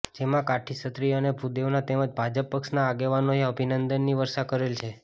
જેમાં કાઠી ક્ષત્રિય અને ભુદેવોના તેમજ ભાજપ પક્ષના આગેવાનોએ અભિનંદનની વર્ષા કરેલ છે